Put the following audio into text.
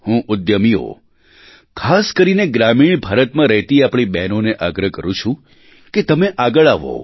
હું ઉદ્યમીઓ ખાસ કરીને ગ્રામીણ ભારતમાં રહેતી આપણી બહેનોને આગ્રહ કરું છું કે તમે આગળ આવો